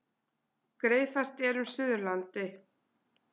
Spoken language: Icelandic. Greiðfært er um Suðurlandi